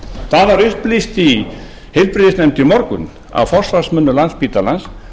það var upplýst í heilbrigðisnefnd í morgun af forsvarsmönnum landspítalans